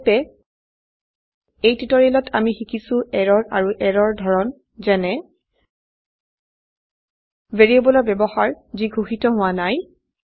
সংক্ষেপে এই টিউটোৰিয়ালত আমি শিকিছো এৰৰ আৰু এৰৰ ধৰন যেনে ভেৰিয়েবল ৰ ব্যবহাৰ যি ঘোষিত হোৱা নাই